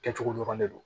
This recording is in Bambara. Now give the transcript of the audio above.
Kɛcogo dɔrɔn de don